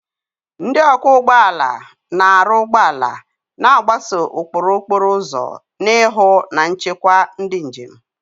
Ndị ọkwọ ụgbọ ala na-arụ ụgbọ ala, na-agbaso ụkpụrụ okporo ụzọ na ịhụ na nchekwa ndị njem.